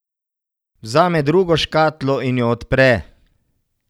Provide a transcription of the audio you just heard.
Vzame drugo škatlo in jo odpre.